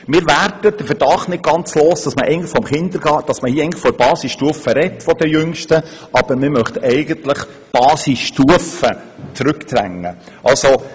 Wir werden den Verdacht nicht ganz los, dass man hier zwar von den Jüngsten in der Basisstufe spricht, aber eigentlich die Basisstufe zurückdrängen will.